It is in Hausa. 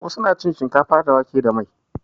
Wasu na cin shinkafa da wake da mai.